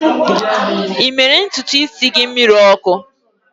Ị mere ntutu isi gị mmiri ọkụ?